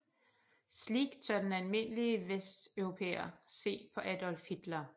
Slik tør den almindelige Vesteuropæer se på Adolf Hitler